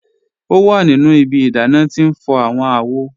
O wa nínu ìbí ìdánà tí n fọ̀ awọn àwò.